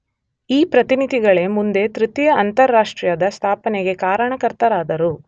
ಈ ಪ್ರತಿನಿಧಿಗಳೇ ಮುಂದೆ ತೃತೀಯ ಅಂತಾರಾಷ್ಟ್ರೀಯದ ಸ್ಥಾಪನೆಗೆ ಕಾರಣಕರ್ತರಾದರು.